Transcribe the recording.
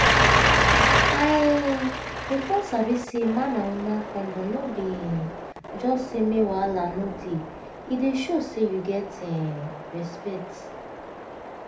i um bin come sabi say man and woman condom no be um just say make wahala no dey e dey show say you get um respect.